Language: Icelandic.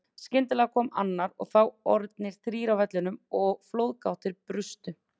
Skyndilega kom annar og þá orðnir þrír á vellinum og flóðgáttir brustu.